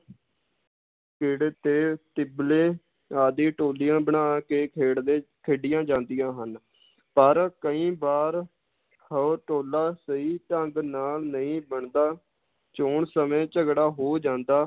ਤੇ ਟਿੱਬਲੇ ਆਦਿ ਟੋਲੀਆਂ ਬਣਾ ਕੇ ਖੇਡਦੇ ਖੇਡੀਆਂ ਜਾਂਦੀਆਂ ਹਨ ਪਰ ਕਈ ਵਾਰ ਉਹ ਟੋਲਾ ਸਹੀ ਢੰਗ ਨਾਲ ਨਹੀਂ ਬਣਦਾ ਚੌਣ ਸਮੇਂ ਝਗੜਾ ਹੋ ਜਾਂਦਾ